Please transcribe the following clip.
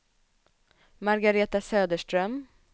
Margaretha Söderström